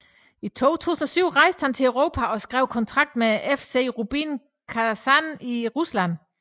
I 2007 rejste han til Europa og skrev kontrakt med FC Rubin Kazan i Rusland